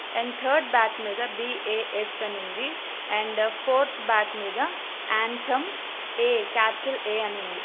And third bot middle BAS. అని ఉంది. And fourth bot mid anthem A capital A అని ఉంది.